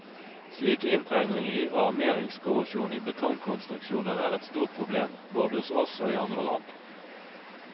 Slik inntrengning i og armeringskorrosjon i betongkonstruksjoner er et stort problem, både hos oss og i andre land.